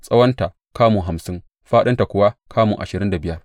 Tsawonta kamu hamsin, fāɗinta kuwa kamu ashirin da biyar.